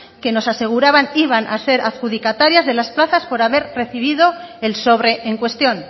que nos aseguraban iban a ser adjudicatarias de las plazas por haber recibido el sobre en cuestión